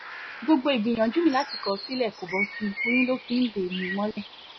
gbogbo ìgbìyànjú mi láti kọ̀ ọ́ sílẹ̀ kó bọ́ sí i oyún ló fi ń dè mí mọ́lẹ̀